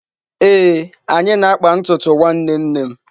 Ee, anyị na-akpa ntutu nwanne nne m.